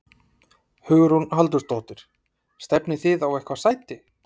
Hugrún Halldórsdóttir: Stefnið þið á eitthvað sæti?